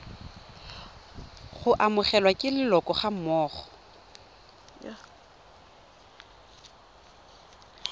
go amogelwa ke leloko gammogo